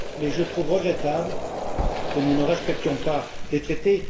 je trouve regrettable que nous ne respections pas les traités.